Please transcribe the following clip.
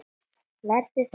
Verður þetta erfitt?